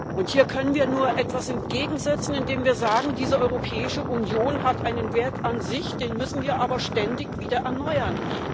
Und hier können wir nur etwas entgegensetzen, indem wir sagen Diese Europäische Union hat einen Wert an sich, den müssen wir aber ständig wieder erneuern.